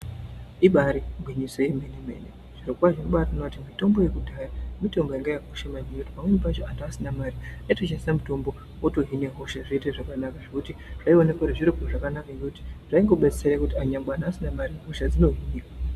Ibairi ngwinyiso yemene mene zviro kwazvo tinobaito ona kuti mitombo yekudhaya mitombo yanga yaka kosha maningi pamweni pacho antu asina mari ayito shandisa mutombo woto hine hosha zvoite zvakanaka zvekuti zvo oneka kuti zviro zvakanaka ngekuti zvaingo detsera vanhu vasina mari hosha dzoto hinika.